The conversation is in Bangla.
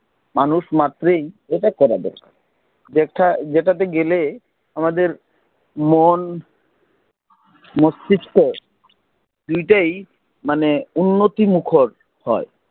মানুষ মাত্রেই এটা করা দরকার, যেটা, যেটা তে গেলে আমাদের মন, মস্তিষ্ক মানে উন্নতিমুখর হয়